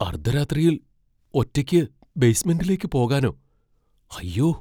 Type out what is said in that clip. അർദ്ധരാത്രിയിൽ ഒറ്റയ്ക്ക് ബേസ്മെന്റിലേക്ക് പോകാനോ, അയ്യോ!